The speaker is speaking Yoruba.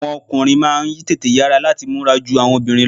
Àwọn ọkùnrin máà ń tètè yara lati múra jù awọn obìnrin lọ.